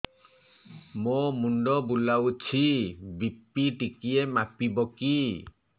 ମୋ ମୁଣ୍ଡ ବୁଲାଉଛି ବି.ପି ଟିକିଏ ମାପିବ କି